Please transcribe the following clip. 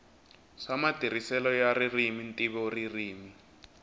swa matirhiselo ya ririmi ntivoririmi